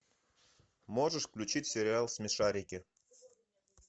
можешь включить сериал смешарики